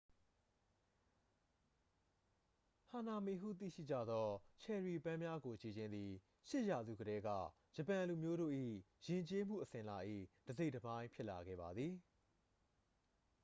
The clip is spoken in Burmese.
ဟနာမီ ဟုသိရှိကြသော ချယ်ရီပန်းများကို ကြည့်ခြင်းသည် 8 ရာစုကတည်းက ဂျပန်လူမျိုးတို့၏ယဉ်ကျေးမှုအစဉ်အလာ၏ တစ်စိတ်တစ်ပိုင်းဖြစ်လာခဲ့ပါသည်